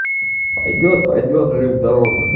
пойдёт пойдёт жив-здоров